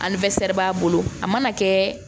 b'a bolo a mana kɛ